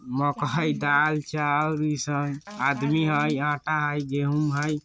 दाल चाउर इ सब आदमी हई आटा हई गेहूं हई।